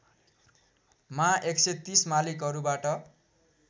मा १३० मालिकहरूबाट